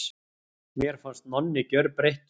Mér fannst Nonni gjörbreyttur.